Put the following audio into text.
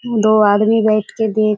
दो आदमी बैठ के देख --